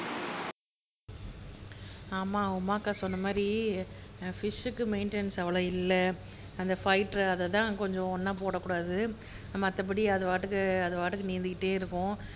ஆமா உமாக்கா சொன்னமாதிரி ஃப்ஷுக்கு மெயின்டெனன்ஸ் அவ்வளவு இல்ல அந்த ஃபைட்டர் அதை தான் கொஞ்சம் ஒன்னா போடக்கூடாது மத்தபடி அதுபாட்டுக்கு நீந்திகிட்டே இருக்கும்